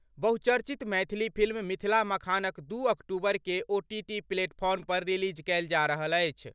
बहुचर्चित मैथिली फिल्म मिथिला मखानक दू अक्टूबर के ओटीटी प्लेटफॉर्म पर रिलीज कएल जा रहल अछि।